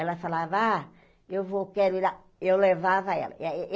Ela falava, ah, eu vou, quero ir lá, eu levava ela eh eh.